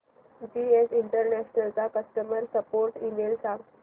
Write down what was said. GS international चा customer support email सांग